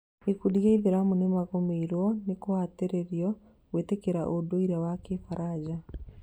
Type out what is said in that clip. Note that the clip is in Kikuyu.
Gĩkundi gĩa gĩithĩramu nĩmagũmĩirwo nĩ kũhatĩrĩirio gwĩtĩkĩra ũndũire wa kĩfaranja